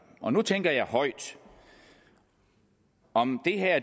og nu tænker jeg højt om